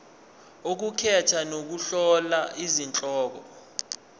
ukukhetha nokuhlola izihloko